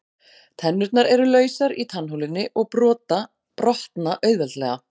Tennurnar eru lausar í tannholunni og brotna auðveldlega.